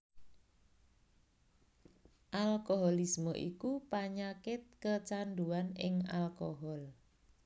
Alkoholisme iku panyakit kecandhuwan ing alkohol